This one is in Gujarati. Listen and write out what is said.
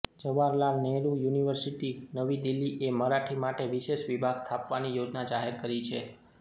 જવાહરલાલ નહેરુ યુનિવર્સિટી નવી દિલ્હી એ મરાઠી માટે વિશેષ વિભાગ સ્થાપવાની યોજના જાહેર કરી છે